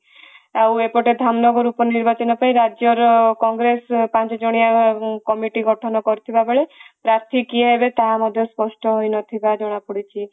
ଆଉ ଏପଟେ ଧାମନଗର ଉପ ନିର୍ବାଚନ ପାଇଁ ରାଜ୍ୟର କଂଗ୍ରେସ ପାଞ୍ଚ ଜଣିଆ କମିଟି ଗଠନ କରିଥିବା ବେଳେ ପାର୍ଥୀ କିଏ ହେବେ ତାହା ମଧ୍ୟ ସ୍ପଷ୍ଠ ହେଇ ନଥିବା ଜଣା ପଡିଛି